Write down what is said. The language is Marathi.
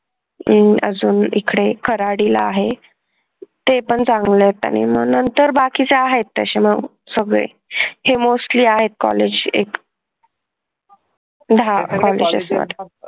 अं अजून इकडे खराडी ला आहेत ते पण चांगले आहेत आणि मग नंतर बाकीचे आहेत सगळे हे mostly आहेत सगळे कॉलेज एक दहा कॉलेज असतात